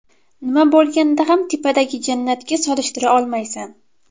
Nima bo‘lganda ham tepadagi jannatga solishtira olmaysan.